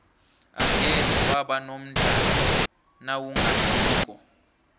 angeze waba nomdlandla nawungadliko